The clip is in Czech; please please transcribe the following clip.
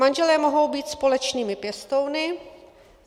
Manželé mohou být společnými pěstouny.